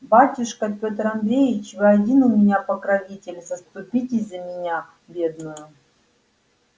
батюшка пётр андреич вы один у меня покровитель заступитесь за меня бедную